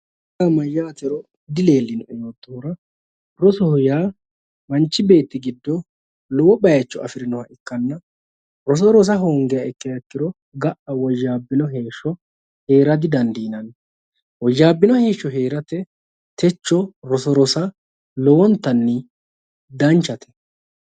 Roso yaa mayaate yoottohura rosoho yaa mancho beeti giddo lowo bayicho afirinnoha ikanna roso Rosa hoongiha ikkiro ga'a woyaabinno heeshsho heera didandiinanni woyaabinno heeshsho heeratte techo roso Rosa lowontanni danchate